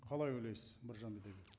қалай ойлайсыз біржан